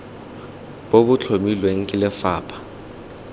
bo bo tlhomilweng ke lefapha